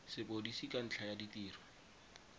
sepodisi ka ntlha ya ditiro